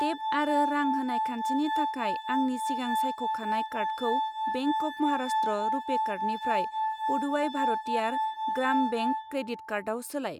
Tape आरो रां होनाय खान्थिनि थाखाय आंनि सिगां सायख'खानाय कार्डखौ बेंक अफ महाराष्ट्र रुपे कार्डनिफ्राय पुदुवाइ भारतियार ग्राम बेंक क्रेडिट कार्डआव सोलाय।